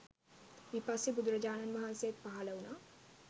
විපස්සී බුදුරජාණන් වහන්සේත් පහළ වුණා.